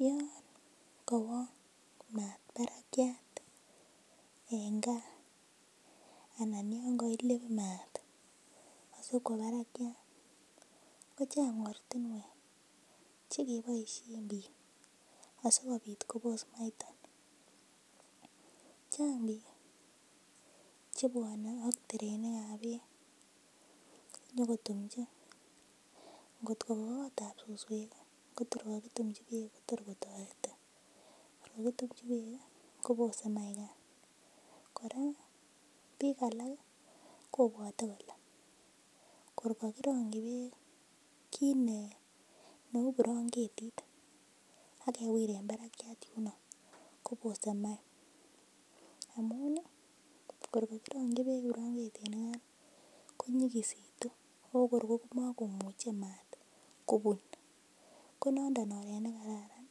Yoon maat barakiat en kaa anan yoon koilib maat asikwo barakiat kochang ortinwek chekiboishen biik asikobit kobos maaiton, chaang biik chebwone ak terenikab beek nyokotumchi, ng'ot ko kakotab suswek kotor kokitumchi beek kotor kotoreti alaan kotumchi beek kobose maikan, kora biik alak kobwote kolee kor kokirongyi beek kiit neuu branketit ak kewiren barakiat yunoo kobose maai amun kor kokirongyi beek brang'etinikan konyikisitu ko kor ko mokomuche maat kobun, ko nondon oreet nekararan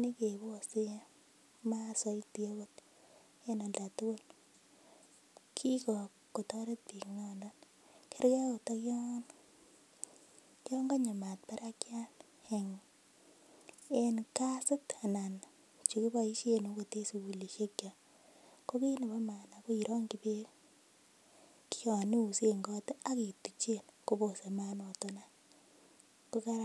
nekebosen maat soiti oot en oldatukul, kikotoret biik nondon, kerkee oot okion konyo maat barakiat en kasit anan chekiboishen okot en sukulishekiok, ko kiit nebo maana ko irongyi beek kion iusen koot ak ituchen kobose maat noton any ko kararan.